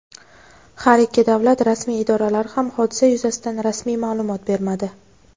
Har ikki davlat rasmiy idoralari ham hodisa yuzasidan rasmiy ma’lumot bermadi.